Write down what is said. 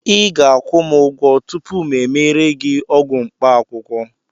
ị ga-akwụ m ụgwọ tupu m emere gị ọgwụ mkpaakwụkwọ